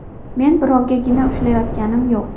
Men birovga gina ushlayotganim yo‘q.